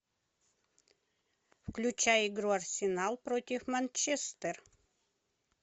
включай игру арсенал против манчестер